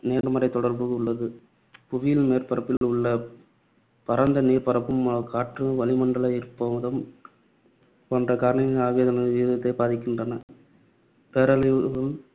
நேர்மறை தொடர்பு உள்ளது. புவியில் மேற்பரப்பில் உள்ள பரந்த நீர்ப்பரப்பு, காற்று, வளிமண்டல ஈரப்பதம் போன்ற காரணிகள் ஆவியாதலின் விகிதத்தை பாதிக்கின்றன. பேரழிவு~